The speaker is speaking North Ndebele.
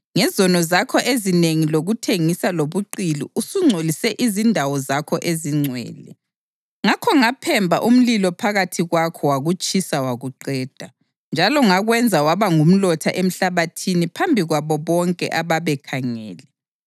Ngezono zakho ezinengi lokuthengisa lobuqili usungcolise izindawo zakho ezingcwele. Ngakho ngaphemba umlilo phakathi kwakho wakutshisa wakuqeda, njalo ngakwenza waba ngumlotha emhlabathini phambi kwabo bonke ababekhangele.